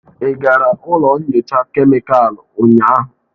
Ị gara ụlọ nyocha kemịkalụ ụnyaahụ?